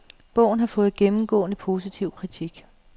Bogen har fået gennemgående positiv kritik.